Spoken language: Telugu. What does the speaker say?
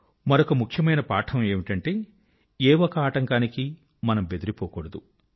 మరొక ముఖ్యమైన పాఠం ఏమిటంటే ఏ ఒక ఆటంకానికి మనం బెదరిపోకూడదు